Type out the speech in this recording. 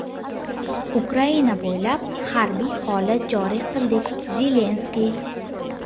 Ukraina bo‘ylab harbiy holat joriy qildik – Zelinskiy.